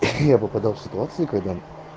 я попадал в ситуации когда